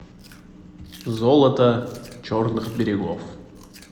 золото черных берегов